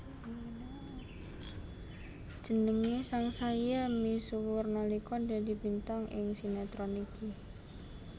Jenengé sangsaya misuwur nalika dadi bintang ing sinetron iki